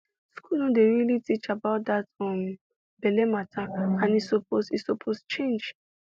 school no dey really teach about that um belle matter and e suppose e suppose change